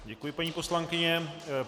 Děkuji, paní poslankyně.